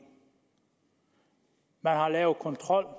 man har lavet kontrol